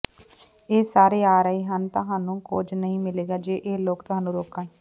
ਇਹ ਸਾਰੇ ਆ ਰਹੇ ਹਨ ਅਤੇ ਤੁਹਾਨੂੰ ਕੁਝ ਨਹੀਂ ਮਿਲੇਗਾ ਜੇ ਇਹ ਲੋਕ ਤੁਹਾਨੂੰ ਰੋਕਣ